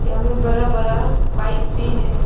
सामने बड़ा बड़ा पाइप भी है।